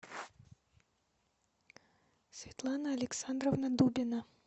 светлана александровна дубина